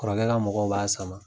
Kɔrɔkɛ ka mɔgɔw b'a sama.